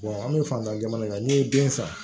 an bɛ fantan jamana n'i ye den san